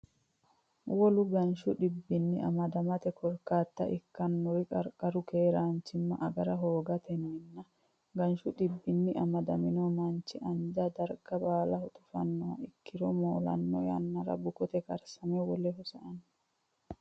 Wolu ganshu dhibbinni amadamate korkaata ikkannori qarqaru keeraanchimma agara hoogatenninna ganshu dhibbinni amadamino manchi anja darga baalaho tufannoha ikkiro moolanno yannara bukote karsame woleho sa anno.